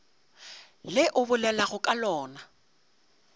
le o bolelago ka lona